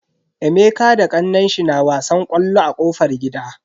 Emeka da kannenshi na wasan ƙwallo a kofar gida.